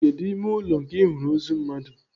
Kedụ ime ụlọ nke Ị hụrụ ozu mmadụ?